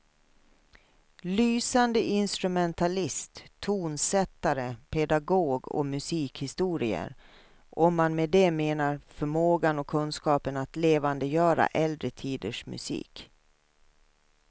Lysande instrumentalist, tonsättare, pedagog och musikhistoriker, om man med det menar förmågan och kunskapen att levandegöra äldre tiders musik.